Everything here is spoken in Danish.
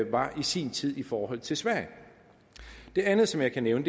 var i sin tid i forhold til sverige det andet som jeg kan nævne